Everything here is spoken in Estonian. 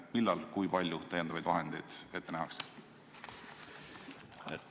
Millal ja kui palju täiendavaid vahendeid ette nähakse?